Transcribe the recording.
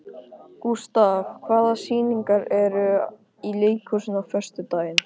Gustav, hvaða sýningar eru í leikhúsinu á föstudaginn?